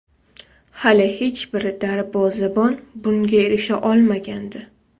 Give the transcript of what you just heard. Hali hech bir darvozabon bunga erisha olmagandi.